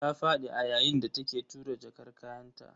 Ta fadi a yayin da take tura jakar kayanta.